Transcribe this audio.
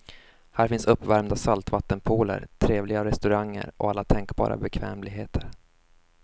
Här finns uppvärmda saltvattenpooler, trevliga restauranger och alla tänkbara bekvämligheter.